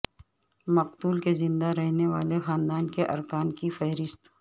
مقتول کے زندہ رہنے والے خاندان کے ارکان کی فہرست